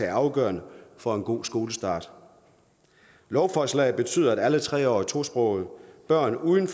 er afgørende for en god skolestart lovforslaget betyder at alle tre årige tosprogede børn uden